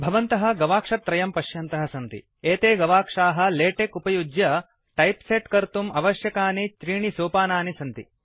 भवन्तः गवाक्षत्रयं पश्यन्तः सन्ति एते गवाक्षाः लेटेक् उपयुज्य टाइपसेट् कर्तुम् आवश्यकनि त्रीणि सोपानानि सन्ति